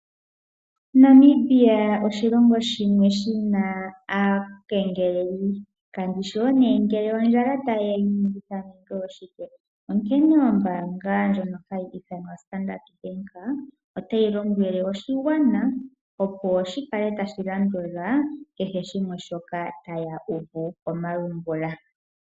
Namibia oshilongo shimwe shina aakengeleli . Onkene ombaanga ndjino hayi ithanwa standard Bank otayi lombwele oshigwana opo shikale tashi landula kehe shimwe shoka taya uvu komalungula.